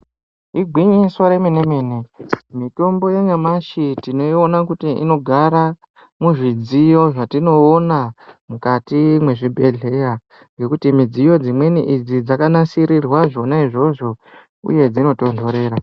Igwinyiso remene mene kuti mitombo yanyamashi tinoiona kuti inogara muzvidziyo zvatinoona mukati mwezvibhedhleya ngokuti midziyo dzimweni idzi dzakanasirirwa zvona izvozvo uye dzinotondorera.